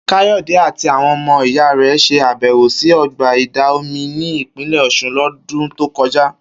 Kayode àti àwọn ọmọ ìyá rẹ̀ ṣe àbẹ̀wò sí ọgbà ìdà omi ní Ìpínlẹ̀ Ọ̀sun lọ́dún tó kọjá